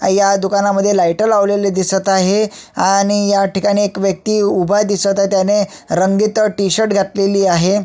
ह्या दुकानामध्ये लाइट लागलेली दिसत आहे आणि ह्या ठिकाणी एक व्यक्ति उभा दिसत आहे त्याने रंगीत टी-शर्ट घातलेली आहे.